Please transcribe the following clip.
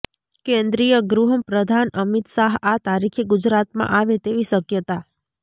કેન્દ્રીય ગૃહપ્રધાન અમિત શાહ આ તારીખે ગુજરાતમાં આવે તેવી શક્યતા